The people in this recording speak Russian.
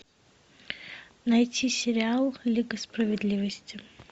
найти сериал лига справедливости